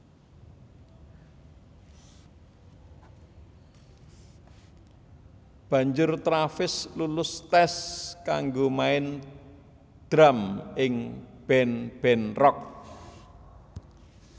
Banjur Travis lulus tes kanggo main drum ing band band rock